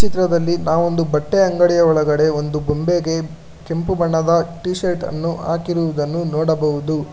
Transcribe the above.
ಈ ಚಿತ್ರದಲ್ಲಿ ನಾವೊಂದು ಬಟ್ಟೆ ಅಂಗಡಿ ಒಳಗಡೆ ಒಂದು ಬೊಂಬೆಗೆ ಕೆಂಪು ಬಣ್ಣದ ಟಿ ಶರ್ಟ್ ಅನ್ನು ಹಾಕಿರುವುದನ್ನು ನೋಡಬಹುದು.